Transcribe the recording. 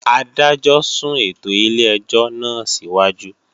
Adájọ́ sún ètò ilé-ẹjọ́ náà síwájú